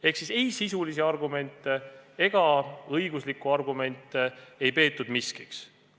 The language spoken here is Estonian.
Ehk et sisulisi ega õiguslikke argumente ei peetud miskiks.